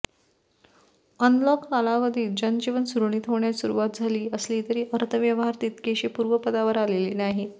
unlock कालावधीत जनजीवन सुरळीत होण्यास सुरुवात झाली असली तरी अर्थव्यवहार तितकेशे पूर्वपदावर आलेले नाहीत